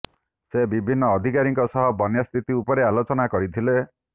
ସେ ବିଭିନ୍ନ ଅଧିକାରୀଙ୍କ ସହ ବନ୍ୟା ସ୍ଥିତି ଉପରେ ଆଲୋଚନା କରିଥିଲେ